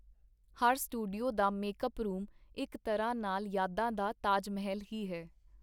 ਹਰ studio ਦਾ make-up room ਇਕ ਤਰ੍ਹਾਂ ਨਾਲ ਯਾਦਾਂ ਦਾ ਤਾਜ-ਮਹੱਲ ਹੀ ਹੈ.